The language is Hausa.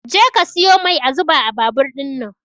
Je ka siyo mai a zuba a babur ɗinnan